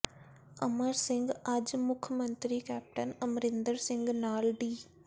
ਅਮਰ ਸਿੰਘ ਅੱਜ ਮੁੱਖ ਮੰਤਰੀ ਕੈਪਟਨ ਅਮਰਿੰਦਰ ਸਿੰਘ ਨਾਲ ਡੀ